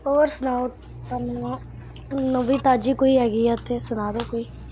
ਹੋਰ ਸੁਣਾਉ ਨਵੀਂ ਤਾਜ਼ੀ ਕੋਈ ਹੈਗੀ ਐ ਤੇ ਸੁਣਾਦੋ ਕੋਈ।